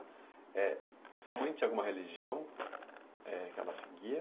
É sua mãe tinha alguma religião é que ela seguia?